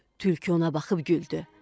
Tülkü ona baxıb güldü.